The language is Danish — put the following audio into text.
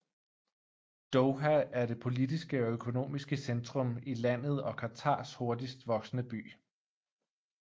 Doha er det politiske og økonomiske centrum i landet og Qatars hurtigst voksende by